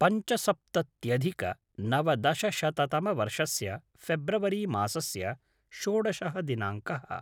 पञ्चसप्तत्यधिकनवदशशततमवर्षस्य फेब्रवरि मासस्य षोडशः दिनाङ्कः